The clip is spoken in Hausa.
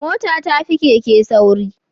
Mota tafi Keke sauri